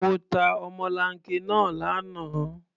Mo ta ọmọlanke náà lánàá.